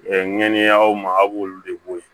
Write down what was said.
ŋaniyaw ma a' b'olu de bɔ yen